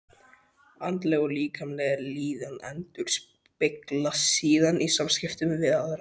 Andleg og líkamleg líðan endurspeglast síðan í samskiptum við aðra.